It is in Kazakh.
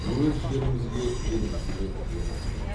өз жерімізге елімізге ие болдық